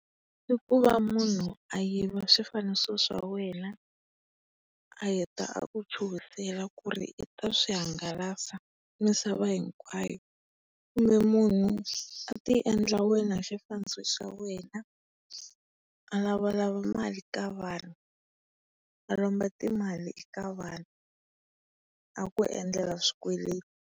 I ku va munhu ayiva swifaniso swa wena, a heta a ku chuhisela ku ri i ta swi hangalasa misava hinkwayo. Kumbe munhu a ti endla wena hi xifaniso xa wena a lavalava mali ka vanhu. A lomba timali ka vanhu a ku endlela swikweleti.